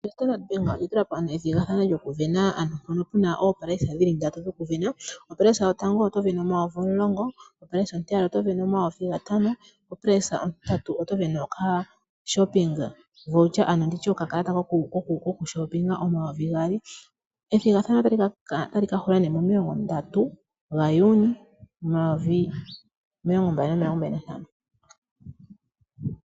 OStandard Bank oya tula po ethigathano lyokusindana, ano hoka ku na iisindanomwa yopatatu. Monomola yotango oto sindana N$ 10 000, monomola ontiyali oto sindana N$ 5000 nomonomola ontintatu oto sindana okakala kokulanda iilandomwa yoye mositola yontumba kongushu yooN$ 2000. Ethigathano otali hulu momasiku30 Juni 2025.